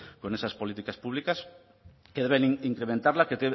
con esas políticas públicas que deben incrementarla que